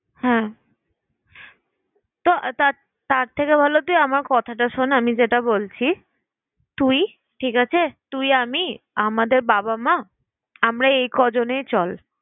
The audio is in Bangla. হ্যাঁ তো তা~ তার থেকে ভালো কি আমার কথাটা শোন! আমি যেটা বলছি, তুই ঠিক আছে? তুই, আমি আমাদের বাবা-মা আমরা এই কজনেই চল।